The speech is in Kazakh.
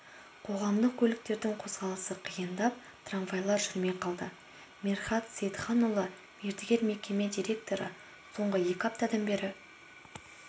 қоғамдық көліктердің қозғалысы қиындап трамвайлар жүрмей қалды мерхат сейітханұлы мердігер мекеме директоры соңғы екі аптадан бері